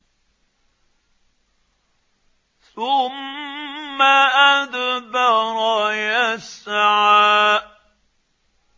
ثُمَّ أَدْبَرَ يَسْعَىٰ